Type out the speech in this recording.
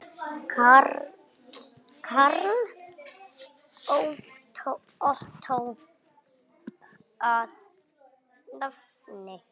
Karl Ottó að nafni.